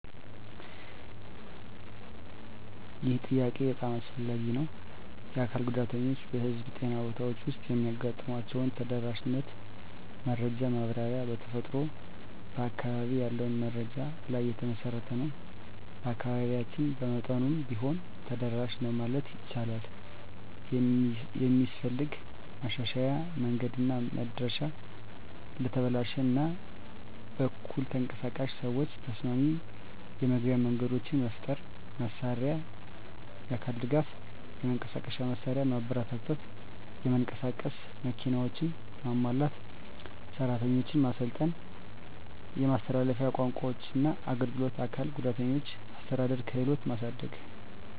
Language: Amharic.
ይህ ጥያቄ በጣም አስፈላጊ ነው። የአካል ጉዳተኞች በህዝብ ጤና ቦታዎች ውስጥ የሚያጋጥሟቸውን ተደራሽነት መረጃ ማብራሪያ በተፈጥሮ በአካባቢ ያለውን መረጃ ላይ የተመሠረተ ነው። በአካባቢያችን በመጠኑም ቢሆን ተደራሽ ነው ማለት ይቻላል። የሚስፈልግ ማሻሻያ መንገድና መድረሻ ለተበላሽ እና በኩል ተንቀሳቃሽ ሰዎች ተስማሚ የመግቢያ መንገዶች መፍጠር። መሳሪያና አካል ድጋፍ የመንቀሳቀሻ መሳሪያ ማበረታታት (የመንቀሳቀስ መኪናዎች) ማሟላት። ሰራተኞች ማሰልጠን የማስተላለፊያ ቋንቋዎችና አገልግሎት አካል ጉዳተኞችን አስተዳደር ክህሎትን ማሳደግ።